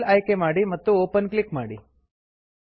file ಆಯ್ಕೆ ಮಾಡಿ ಮತ್ತು ಓಪನ್ ಕ್ಲಿಕ್ ಮಾಡಿ